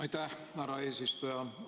Aitäh, härra eesistuja!